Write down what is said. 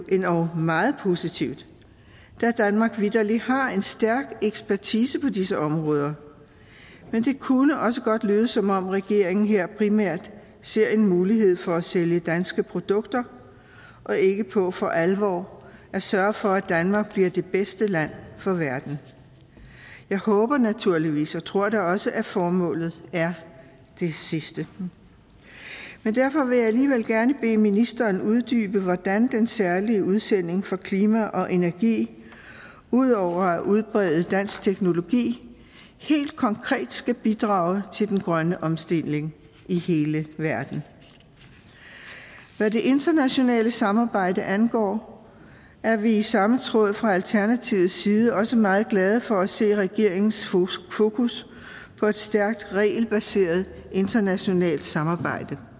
endog meget positivt da danmark vitterlig har en stærk ekspertise på disse områder men det kunne også godt lyde som om regeringen her primært ser en mulighed for at sælge danske produkter og ikke på for alvor at sørge for at danmark bliver det bedste land for verden jeg håber naturligvis og tror da også at formålet er det sidste men derfor vil jeg alligevel gerne bede ministeren uddybe hvordan den særlige udsending for klima og energi ud over at udbrede dansk teknologi helt konkret skal bidrage til den grønne omstilling i hele verden hvad det internationale samarbejde angår er vi i samme tråd fra alternativets side også meget glade for at se regeringens fokus på et stærkt regelbaseret internationalt samarbejde